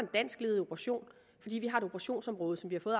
danskledet operation fordi vi har et operationsområde som vi